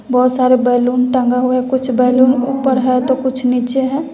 बहुत सारे बैलून टंगा हुआ है कुछ बैलून उपर है तो कुछ नीचे है।